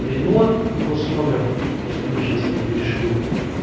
рено госномер госномер сейчас тебе перешлю